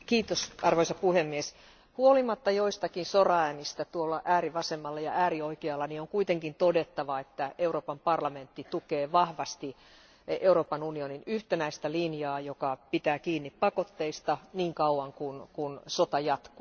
Arvoisa puhemies, huolimatta joistakin soraäänistä tuolla äärivasemmalla ja äärioikealla on kuitenkin todettava, että Euroopan parlamentti tukee vahvasti Euroopan unionin yhtenäistä linjaa, joka pitää kiinni pakotteista niin kauan kuin sota jatkuu.